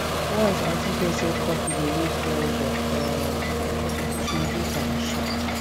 once aunty hear say coffee dey lift pressure um she reduce am sharp